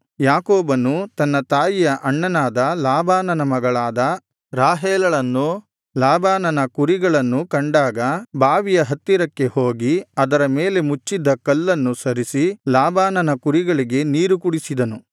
ಯಾಕೋಬನು ತನ್ನ ತಾಯಿಯ ಅಣ್ಣನಾದ ಲಾಬಾನನ ಮಗಳಾದ ರಾಹೇಲಳನ್ನೂ ಲಾಬಾನನ ಕುರಿಗಳನ್ನೂ ಕಂಡಾಗ ಬಾವಿಯ ಹತ್ತಿರಕ್ಕೆ ಹೋಗಿ ಅದರ ಮೇಲೆ ಮುಚ್ಚಿದ್ದ ಕಲ್ಲನ್ನು ಸರಿಸಿ ಲಾಬನನ ಕುರಿಗಳಿಗೆ ನೀರು ಕುಡಿಸಿದನು